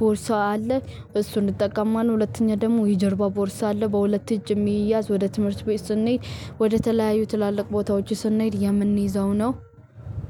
ቦርሳ አለ እሱን እንጠቀማለሁ። ሁለተኛ ደግሞ የጀርባው ቦርሳ አለ በሁለት እጅ የሚያዝ ወደ ትምህርት ቤት ስንሄድ ወደ ተለያዩ ትላልቅ ቦታዎች ስንሄድ የምንይዘው ነው።